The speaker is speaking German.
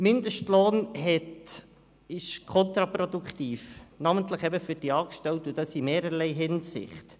Der Mindestlohn ist kontraproduktiv, namentlich eben für die Angestellten, und das in mehrerlei Hinsicht.